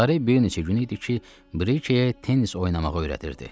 Lare bir neçə gün idi ki, Brikəyə tennis oynamağı öyrədirdi.